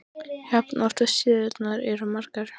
jafn oft og síðurnar eru margar.